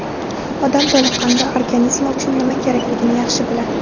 Odam toliqqanida organizmi uchun nima kerakligini yaxshi biladi.